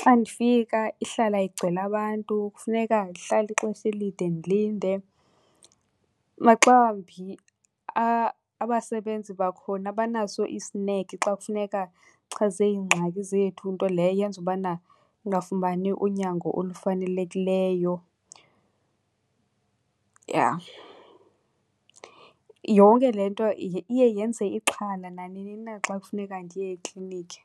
Xa ndifika ihlala igcwele abantu kufuneka ndihlale ixesha elide ndilinde. Maxa wambi abasebenzi bakhona abanaso isineke xa kufuneka chaze ingxaki zethu, nto leyo eyenza ubana ungafumani unyango olufanelekileyo, yha. Yonke le nto iye yenze ixhala nanini na xa kufuneka ndiye ekliniki.